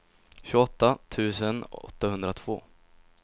tjugoåtta tusen åttahundratvå